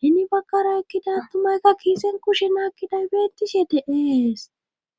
hini bagkara ekkida tumaykka kiisen kushenaakkiday beetishe deees